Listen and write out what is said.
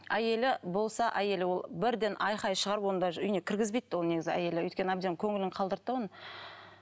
әйелі болса әйелі ол бірден айқай шығарып оны даже үйіне кіргізбейді де ол негізі әйелі өйткені әбден көңілін қалдырды да оның